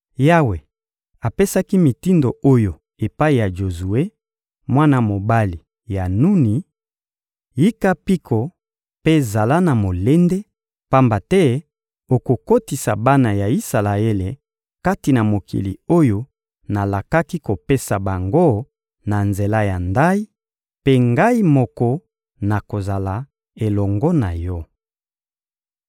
Yawe apesaki mitindo oyo epai ya Jozue, mwana mobali ya Nuni: «Yika mpiko mpe zala na molende, pamba te okokotisa bana ya Isalaele kati na mokili oyo nalakaki kopesa bango na nzela ya ndayi, mpe Ngai moko nakozala elongo na yo.»